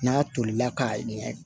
N'a tolila k'a ɲɛ